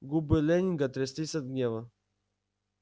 губы лэннинга тряслись от гнева